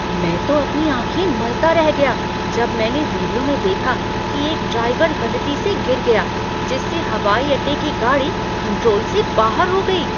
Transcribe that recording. मैं तो अपनी आँखें मलता रह गया जब मैंने वीडियो में देखा कि एक ड्राइवर गलती से गिर गया जिससे हवाई अड्डे की गाड़ी कंट्रोल से बाहर हो गई।